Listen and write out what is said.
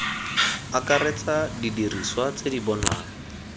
akaretsa didiriswa tse di bonwang